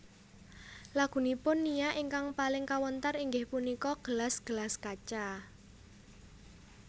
Lagunipun Nia ingkang paling kawentar inggih punika Gelas gelas Kaca